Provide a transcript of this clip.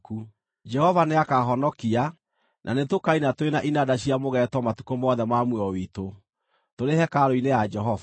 Jehova nĩakahonokia, na nĩtũkaina tũrĩ na inanda cia mũgeeto matukũ mothe ma muoyo witũ, tũrĩ hekarũ-inĩ ya Jehova.